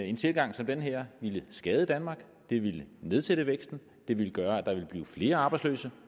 en tilgang som den her ville skade danmark det ville nedsætte væksten og det ville gøre at der ville blive flere arbejdsløse